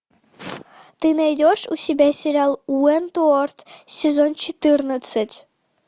ты найдешь у себя сериал уэнтуорт сезон четырнадцать